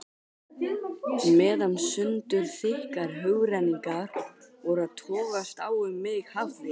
Meðan sundurþykkar hugrenningar voru að togast á um mig hafði